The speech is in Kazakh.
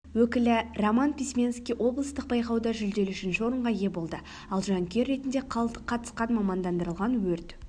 өкілі роман письменский облыстық байқауда жүлделі үшінші орынға ие болды ал жанкүйер ретінде қатысқан мамандандырылған өрт